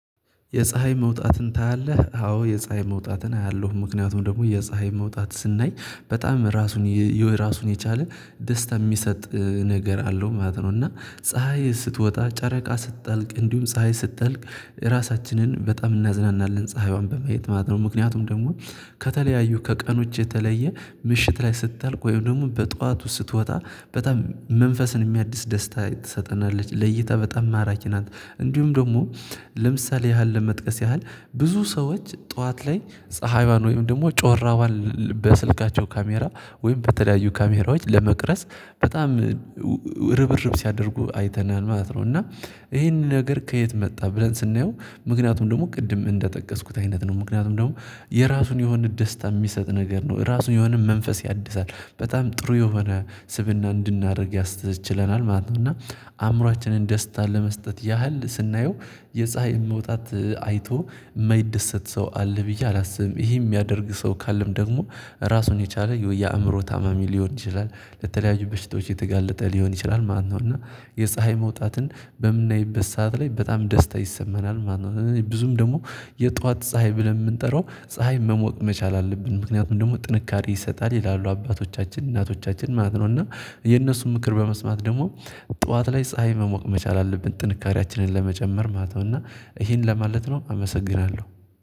የፀሀይ መውጣትን ታያለህ? አዎ የፀሀይ መውጣትን አያለሁ ምክንያቱም ደግሞ የፀሀይ መውጣት ስናይ በጣም ራሱን የራሱን የቻለ ደስታ የሚሰጥ ነገር አለው ማለት ነው። እና ፀሀይ ስትወጣ ጨረቃ ስትጠልቅ እንዲሁም ፀሀይ ስትጠልቅ ራሳችንን በጣም እናዝናናለን ፀሀይዋን በማየት ማለት ነው ምክንያቱም ደግሞ ከተለያዩ ከቀኖች የተለየ ምሽት ላይ ስታልቅ ወይም ደግሞ በጧቱ ስትወጣ በጣም መንፈስን የሚያድስ ደስታ ትሰጠናለች ለእይታ በጣም ማራኪ ናት። እንዲሁም ደግሞ ለምሳሌ ያህል ለመጥቀስ ያህል ብዙ ሰዎች ጠዋት ላይ ፀሀይዋን ወይም ደግሞ ጮራዋን በስልካቸው ካሜራ ወይም በተለያዩ ካሜራዎች ለመቅረስ በጣም ርብርብ ሲያደርጉ አይተናል ማለት ነው። እና ይሄንን ነገር ከየት መጣ ብለን ስናየው ምክንያቱም ደግሞ ቅድም እንደጠቀስኩት አይነት ነው ምክንያቱም ደግሞ የራሱን የሆነ ደስታ የሚሰጥ ነገር ነው። እራሱ የሆነ መንፈስ ያድሳል በጣም ጥሩ የሆነ ስብእና እንድናደርግ ያስችለናል ማለት ነው። እና አእምሮአችንን ደስታ ለመስጠት ያህል ስናየው የፀሀይ መውጣት አይቶ የማይደሰት ሰው አለ ብዬ አላስብም ይሄ የሚያደርግ ሰው ካለም ደግሞ ራሱን የቻለ የአእምሮ ታማሚ ሊሆን ይችላል ለተለያዩ በሽታዎች የተጋለጠ ሊሆን ይችላል ማለት ነው። እና የፀሀይ መውጣትን በምናይበት ሰዓት ላይ በጣም ደስታ ይሰመናል ማለት ነው። ስለዚህ ብዙም ደግሞ የጧት ፀሀይ ብለን የምንጠራው ፀሀይ መሞቅ መቻል አለብን ምክንያቱም ደግሞ ጥንካሬ ይሰጣል ይላሉ አባቶቻችን እናቶቻችን ማለት ነው። እና የእነሱን ምክር በመስማት ደግሞ ጠዋት ላይ ፀሀይ መሞቅ መቻል አለብን ጥንካሬያችንን ለመጨመር ማለት ነው። እና ይሄን ለማለት ነው አመሰግናለሁ